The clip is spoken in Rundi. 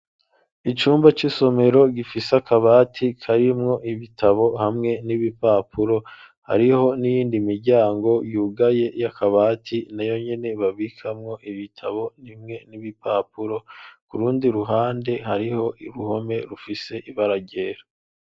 Icumba c'isomero gifise akabati karimwo ibitabo hamwe n'ibipapuro hariho n'iyindi miryango yugaye y'akabati na yo nyene babikamwo ibitabo nimwe n'ibipapuro ku rundi ruhande hariho iruhome rufise ibararyera.